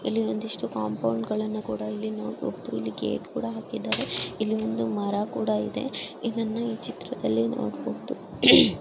ಇಲ್ಲಿ ಒಂದಿಷ್ಟು ಕಾಂಪೋಂಡ ಗಳನ್ನ ಕೂಡ ನೋಡಬಹುದು ಇಲ್ಲಿ ಗೇಟ್ ಕೂಡ ಹಾಕಿದರೆ ಇಲ್ಲಿ ಮರ ಒಂದು ಕೂಡ ಇದೆ ಇಲ್ಲಿ ಒಂದು ಮರ ಕೂಡ ಇದೆ ಇದನ್ನ ಈ ಚಿತ್ರದಲ್ಲಿ ನೋಡಬಹುದು.